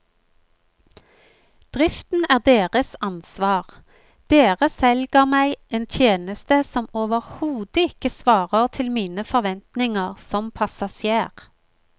Driften er deres ansvar, dere selger meg en tjeneste som overhodet ikke svarer til mine forventninger som passasjer.